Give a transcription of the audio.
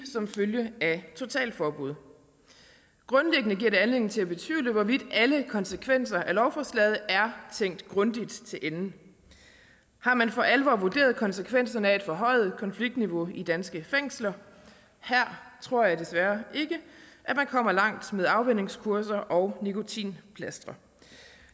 som følge af totalforbud grundlæggende giver det anledning til at betvivle hvorvidt alle konsekvenser af lovforslaget er tænkt grundigt til ende har man for alvor vurderet konsekvenserne af et forhøjet konfliktniveau i danske fængsler her tror jeg desværre ikke at man kommer langt med afvænningskurser og nikotinplastre